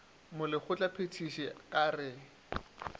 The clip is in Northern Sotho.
molekgotla phethiši a ka re